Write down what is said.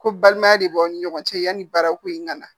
Ko balimaya de b'aw ni ɲɔgɔn cɛ yani baarako in ŋana